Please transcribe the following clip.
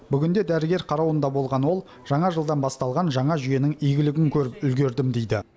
бүгінде дәрігер қарауында болған ол жаңа жылдан басталған жаңа жүйенің игілігін көріп үлгердім дейді